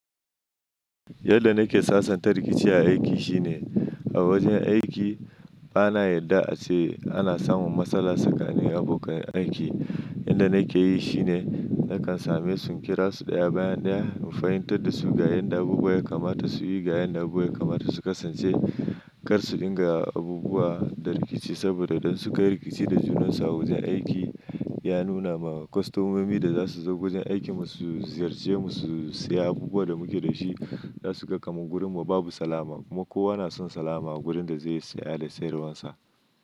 Yadda nake sasanta rikici a aiki shine a wajen aiki bana yarda ace ana samun matsala tsakanin abokan aiki. Yanda nake yi shine nakan same su in kira su ɗaya bayan ɗaya in fahimtar da su ga yanda abubuwa ya kamata su yi, ga yanda abubuwa ya kamata su kasance kar su ɗinga abubuwa da rikici. Saboda dan su ka yi rikici da junansu a wajen aiki ya nuna ma kostomomi da za su zo wajen aiki mu su ziyarce mu su saya abubuwa da muke da shi za su ga kamar wurin mu babu salama. Kuma kowa na son salama a wurin da zai saya da sayarwar sa.